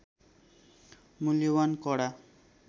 मूल्यवान कडा